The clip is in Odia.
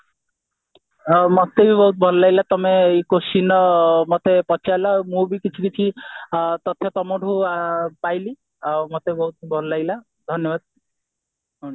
ଆଉ ମତେ ବି ବହୁତ ଭଲ ଲାଗିଲା ତମେ ଏଇ questionର ମତେ ପଚାରିଲ ଆଉ ମୁଁ ବି କିଛି କିଛି ତଥ୍ୟ ତମଠୁ ପାଇଲି ଆଉ ମତେ ବହୁତ ଭଲ ଲାଗିଲା ଧନ୍ୟବାଦ